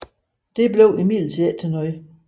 Det blev imidlertid ikke til noget